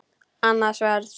Annað sverð.